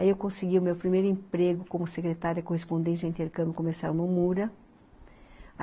Aí eu consegui o meu primeiro emprego como secretária correspondente de intercâmbio comercial no Mura.